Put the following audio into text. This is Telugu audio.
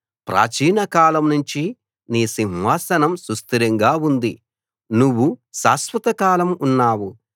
ప్రాచీన కాలంనుంచి నీ సింహాసనం సుస్థిరంగా ఉంది నువ్వు శాశ్వతకాలం ఉన్నావు